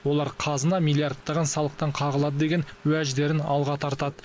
олар қазына миллиардтаған салықтан қағылады деген уәждерін алға тартады